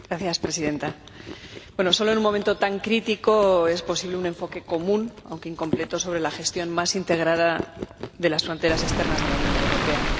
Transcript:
Señora Presidenta, solo en un momento tan crítico es posible un enfoque común, aunque incompleto, sobre la gestión más integrada de las fronteras exteriores de la Unión Europea.